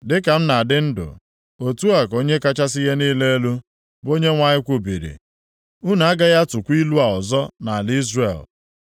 “Dịka m na-adị ndụ, otu a ka Onye kachasị ihe niile elu, bụ Onyenwe anyị kwubiri, unu agaghị atụkwa ilu a ọzọ nʼala Izrel.